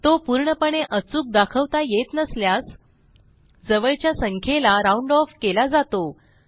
तो पूर्णपणे अचूक दाखवता येत नसल्यास जवळच्या संख्येला राउंड ऑफ केला जातो